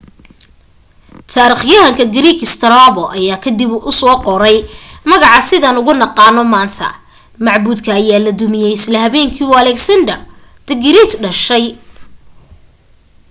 taarikhyahanka greek strabo ayaa ka dib ugu qoray magaca sidaan ugu naqaano maanta macbuudka ayaa la dumiyay isla habeenkii uu alexander the great dhashay